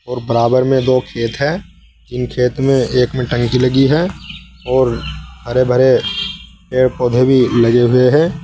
और बराबर में दो खेत हैं। इन खेत में एक में टंकी लगी है और हरे भरे पेड़ पौधे भी लगे हुए हैं।